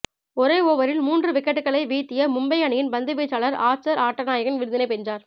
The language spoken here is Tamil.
ஒரே ஓவரில் மூன்று விக்கெட்டுக்களை வீழ்த்திய மும்பை அணியின் பந்துவீச்சாளர் ஆர்ச்சர் ஆட்டநாயகன் விருதினை வென்றார்